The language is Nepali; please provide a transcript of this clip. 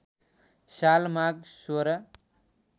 साल माघ १६